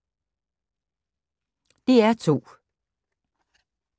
DR2